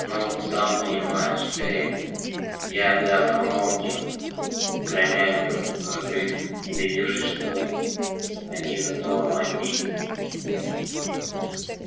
ну сам понимаешь эй я да помог им промямлил хагрид убедившись что они за домом одни